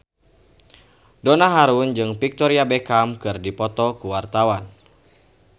Donna Harun jeung Victoria Beckham keur dipoto ku wartawan